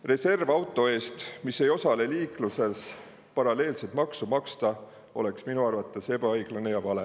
Reservauto eest, mis ei osale liikluses, paralleelset maksu maksta oleks minu arvates ebaõiglane ja vale.